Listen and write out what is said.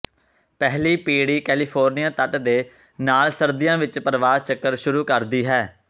ਪਹਿਲੀ ਪੀੜ੍ਹੀ ਕੈਲੀਫੋਰਨੀਆ ਤੱਟ ਦੇ ਨਾਲ ਸਰਦੀਆਂ ਵਿੱਚ ਪ੍ਰਵਾਸ ਚੱਕਰ ਸ਼ੁਰੂ ਕਰਦੀ ਹੈ